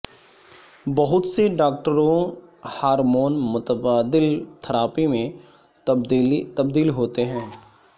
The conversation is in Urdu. بہت سے ڈاکٹروں ہارمون متبادل تھراپی میں تبدیل ہوتے ہیں